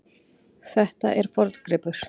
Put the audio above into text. Þetta er forngripur.